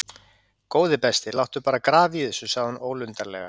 Góði besti, láttu bara grafa í þessu sagði hún ólundarlega.